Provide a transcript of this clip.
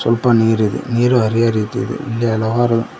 ಸ್ವಲ್ಪ ನೀರಿದೆ ನೀರು ಹರಿಯುವ ರೀತಿ ಇದೆ ಇಲ್ಲಿ ಹಲವಾರು--